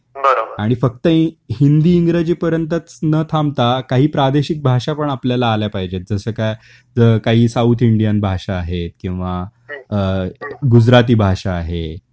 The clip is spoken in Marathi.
बरोबर आणि फक्त हिंदी, इंग्रजी पर्यंतच न थांबता काही प्रादेशिक भाषा पण आपल्याला आल्या पाहिजेत. जस काय काही साऊथ इंडियन भाषा आहेत किंवा अ गुजराती भाषा आहे